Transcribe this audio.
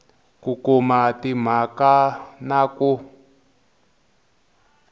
ku kuma timhaka na ku